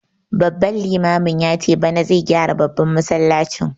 Babban limamin yace bana zai gyara babban masallacin